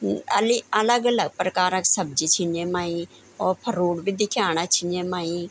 अ अली अलग अलग प्रकार क सब्जी छिन येमाई और फरूट भी दिख्याणा छिंन येमाई।